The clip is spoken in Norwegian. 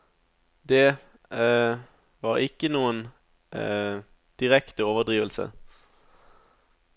Det var ikke noen direkte overdrivelse.